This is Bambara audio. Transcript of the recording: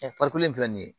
farikolo in filɛ nin ye